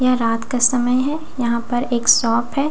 यह रात का समय हैं यहाँ पर एक शॉप हैं --